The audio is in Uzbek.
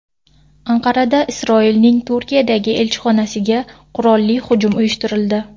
Anqarada Isroilning Turkiyadagi elchixonasiga qurolli hujum uyushtirildi.